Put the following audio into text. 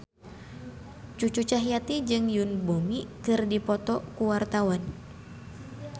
Cucu Cahyati jeung Yoon Bomi keur dipoto ku wartawan